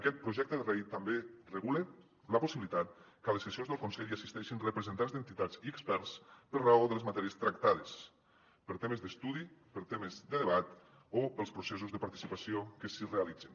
aquest projecte de llei també regula la possibilitat que a les sessions del consell hi assisteixin representants d’entitats i experts per raó de les matèries tractades per temes d’estudi per temes de debat o pels processos de participació que s’hi realitzin